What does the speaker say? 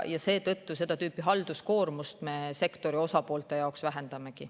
Seetõttu me sektori osapoolte seda tüüpi halduskoormust vähendamegi.